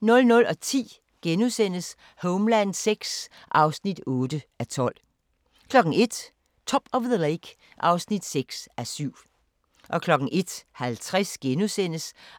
00:10: Homeland VI (8:12)* 01:00: Top of the Lake (6:7) 01:50: